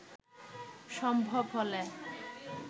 সম্ভব হলে